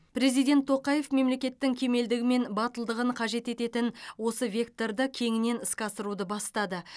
президент тоқаев мемлекеттің кемелдігі мен батылдығын қажет ететін осы векторды кеңінен іске асыруды бастады